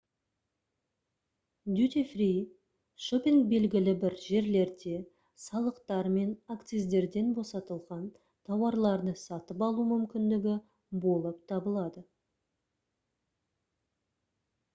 дютифри шоппинг белгілі бір жерлерде салықтар мен акциздерден босатылған тауарларды сатып алу мүмкіндігі болып табылады